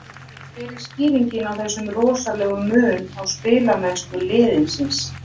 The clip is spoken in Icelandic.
Hver er skýringin á þessum rosalega mun á spilamennsku liðsins?